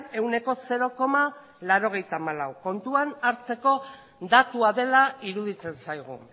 ehuneko zero laurogeita hamalaugarrena kontuan hartzeko datua dela iruditzen zaigu